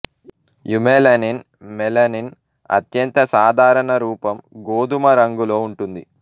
eumelanin melanin అత్యంత సాధారణ రూపం గోధుమ రంగులో ఉంటుంది